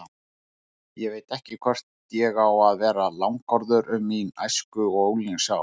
Ég veit ekki hvort ég á að vera langorður um mín æsku- og unglingsár.